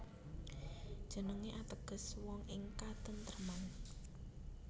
Jenengé ateges wong ing katentreman